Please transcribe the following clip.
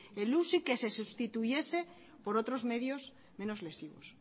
el uso y que se sustituyese por otros medios menos lesivos